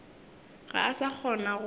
ga a sa kgona go